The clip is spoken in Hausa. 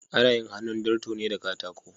Ana yin hannun darto ne da katako.